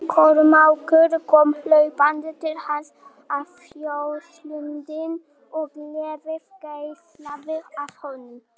Kormákur kom hlaupandi til hans og þjónustulundin og gleðin geislaði af honum.